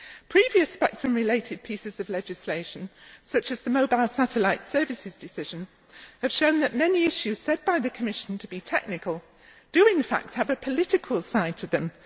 Previous spectrum related pieces of legislation, such as the mobile satellite services decision, have shown that many issues said by the Commission to be technical do, in fact, have a political side to them.